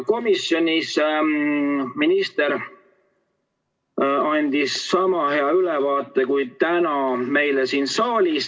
Komisjonis minister andis sama hea ülevaate kui täna meile siin saalis.